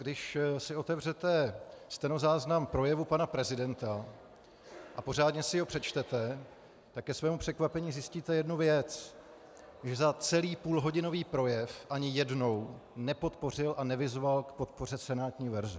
Když si otevřete stenozáznam projevu pana prezidenta a pořádně si ho přečtete, tak ke svému překvapení zjistíte jednu věc, že za celý půlhodinový projev ani jednou nepodpořil a nevyzval k podpoře senátní verze.